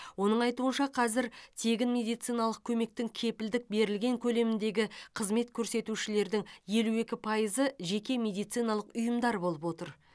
оның айтуынша қазір тегін медициналық көмектің кепілдік берілген көлеміндегі қызмет көрсетушілердің елу екі пайызы жеке медициналық ұйымдар болып отыр